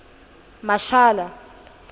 mashara